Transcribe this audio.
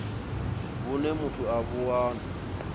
vhune muthu a vhu wana